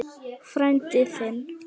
Frændi þinn?